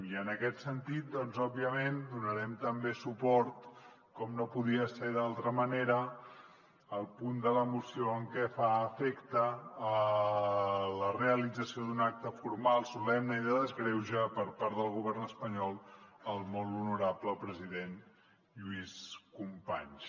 i en aquest sentit doncs òbviament donarem també suport com no podia ser d’altra manera al punt de la moció que afecta la realització d’un acte formal solemne i de desgreuge per part del govern espanyol al molt honorable president lluís companys